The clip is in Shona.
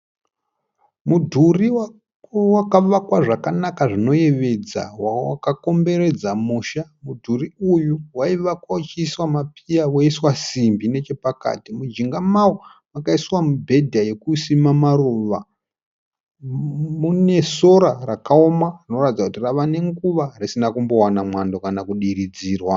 Mudhuri wakavakwa zvakanaka zvinoyevedza wakakomberedza musha. Mudhuri uyu waivakwa uchiiswa mapiya woiswa simbi nechepakati. Mujinga mawo makaiswa mubhedha yekusima maruva. Mune sora rakaoma rinoratidza kuti rava nenguva risina kumbowana mwando kana kudiridzirwa.